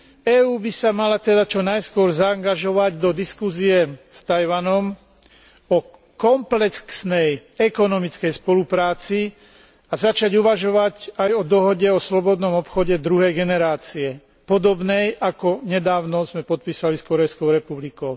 EÚ by sa mala teda čo najskôr zaangažovať do diskusie s Taiwanom o komplexnej ekonomickej spolupráci a začať uvažovať aj o dohode o slobodnom obchode druhej generácie podobnej, ako sme nedávno podpísali s Kórejskou republikou.